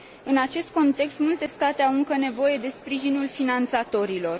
În acest context, multe state au încă nevoie de sprijinul finanțatorilor.